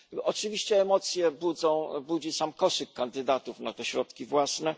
Oczywiście emocje budzi sam koszyk kandydatów na te środki własne.